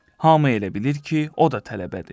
Hamı elə bilir ki, o da tələbədir.